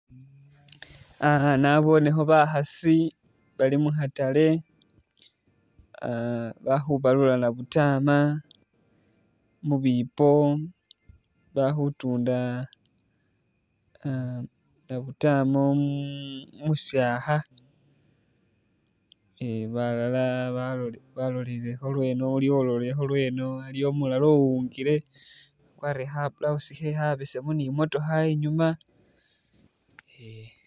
Ah nabonekho bakhaasi bali mu khatale ah bali khubalula nabutama, mu bipo ba khutunda ah nabutama umu umusyakha. Eh balala balolilekho lweno, iliwo umulala ulolikho lweno, aliwo umulala uwungile wakwarire kha blouse khe khabesemu ni i'motokha inyuma eh.